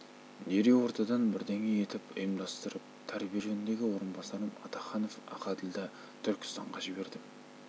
дереу ортадан бірдеңе етіп ұйымдастырып тәрбие жөніндегі орынбасарым атаханов ақәділді түркістанға жібердім